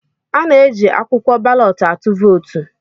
Ana-eji akwụkwọ balọt atụ vootu.